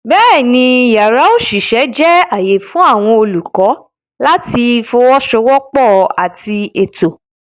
Bẹ́ẹ̀ni, yàrá òṣìṣẹ́ jẹ́ ààyè fún àwọn olùkọ́ láti fọwọ́sowọ́pọ̀ àti ètò.